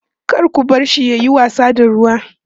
kar ku barshi yayi wasa da ruwa